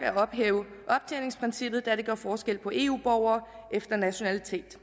at ophæve optjeningsprincippet da det gør forskel på eu borgere efter nationalitet